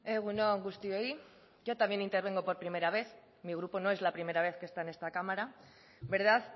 egun on guztioi yo también intervengo por primera vez mi grupo no es la primera vez que está en esta cámara verdad